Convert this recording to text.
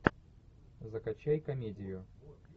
закачай комедию